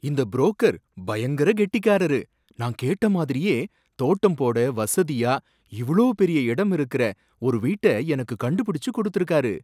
இந்த புரோக்கர் பயங்கர கெட்டிக்காரரு, நான் கேட்ட மாதிரியே தோட்டம் போட வசதியா இவ்ளோ பெரிய இடம் இருக்குற ஒரு வீட்ட எனக்கு கண்டுபிடிச்சு கொடுத்திருக்காரு